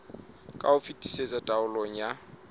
ka ho fetisisa taolong ya